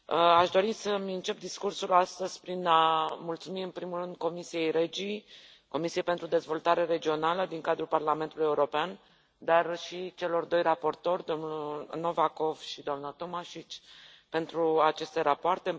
Aș dori să îmi încep discursul astăzi prin a mulțumi, în primul rând, Comisiei REGI, Comisiei pentru dezvoltare regională din cadrul Parlamentului European, dar și celor doi raportori, domnul Novakov și doamna Tomašić, pentru aceste rapoarte.